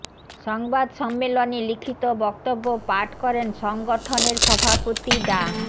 সংবাদ সম্মেলনে লিখিত বক্তব্য পাঠ করেন সংগঠনের সভাপতি ডা